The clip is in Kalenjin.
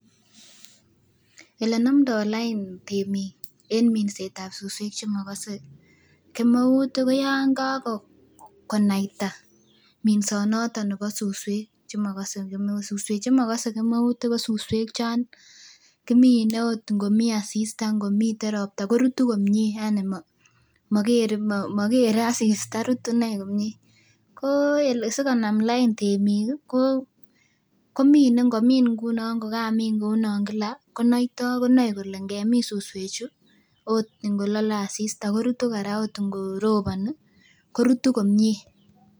Elenomdoo lain temiik en minset ab suswek chemokose kemeut ih ko yan kakonaita minsonoto nebo suswek chemokose kemeut, suswek chemokose kemeut ih ko suswek chon kimine ot ngomii asista ngomii ropta korutu komie yani mokere asista rutu inei komie ko sikonam lain temiik komine ngomin ngunon kokamin ngunon kila konoitoo konoe kole ngemin suswek chu ot ngolole asista korutu kora ot ngoroboni korutu komie